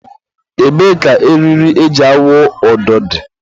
ebee ka eriri e ji awụ ụdọ dị?